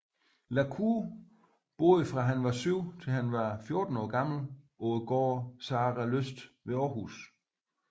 La Cour boede fra han var syv til han var 14 år gammel på gården Saralyst ved Aarhus